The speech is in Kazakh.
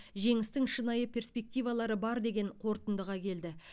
жеңістің шынайы перспективалары бар деген қорытындыға келді